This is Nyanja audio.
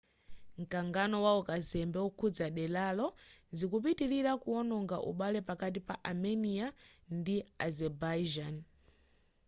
mkangano waukazembe okhuza deralo zikupitilira kuwononga ubale pakati pa armenia ndi azerbaijan